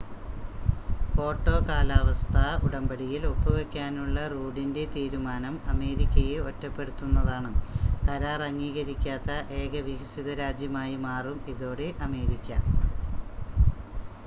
Kyoto കാലാവസ്ഥാ ഉടമ്പടിയിൽ ഒപ്പുവെക്കാനുള്ള റൂഡിൻ്റെ തീരുമാനം അമേരിക്കയെ ഒറ്റപ്പെടുത്തുന്നതാണ് കരാർ അംഗീകരിക്കാത്ത ഏക വികസിത രാജ്യമായി മാറും ഇതോടെ അമേരിക്ക